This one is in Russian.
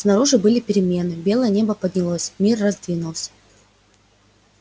снаружи были перемены белое небо поднялось мир раздвинулся